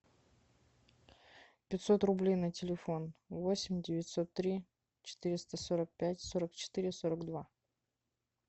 пятьсот рублей на телефон восемь девятьсот три четыреста сорок пять сорок четыре сорок два